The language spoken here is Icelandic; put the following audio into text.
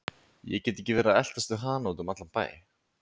Ég get ekki verið að eltast við hana út um allan bæ.